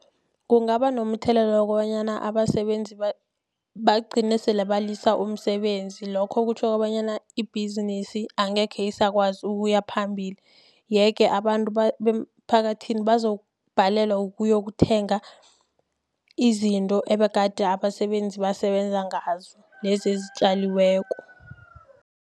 Kungaba nomthelela wokobanyana abasebenzi bagcine selebalisa umsebenzi. Lokho kutjho kobanyana ibhizinisi angekhe isakwazi ukuya phambili. Yeke abantu beemphakathini bazokubhalelwa ukuyokuthenga, izinto ebegade abasebenzi basebenze ngazo, lezi ezitjaliweko.